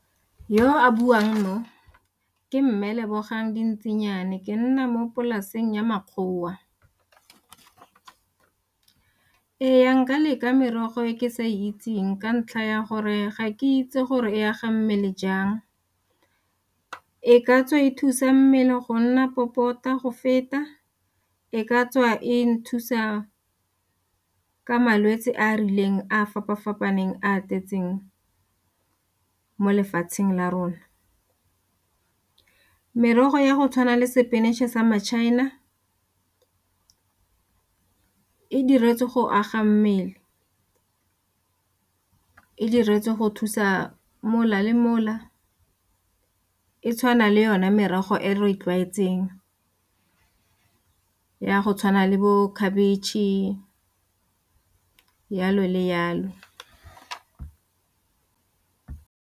Yo a buang o, ke mme Lebogang Dintsinyana, ke nna mo polaseng ya makgowa. Ee, nka leka merogo e ke sa itseng ka ntlha ya gore ga ke itse gore e ya ga mmele jang, e ka tswa e thusa mmele go nna popota go feta e ka tswa e nthusa ka malwetse a a rileng a fapa-fapaneng a tletseng mo lefatsheng la rona. Merogo ya go tshwana le sepinatšhe sa ma-China e diretswe go aga mmele, e diretswe go thusa mola le mola e tshwana le yone merogo e re tlwaetseng ya go tshwana le bo khabetšhe jalo le jalo.